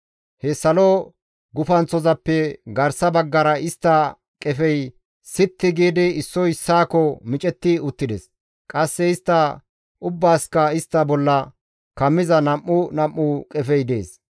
He salo gufanththozappe garsa baggara istta qefey sitti giidi, issoy issaakko micetti uttides; qasse istta ubbaasikka istta bolla kammiza nam7u nam7u qefey dees.